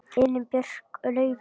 Elín Björk, Laufey og Ólöf.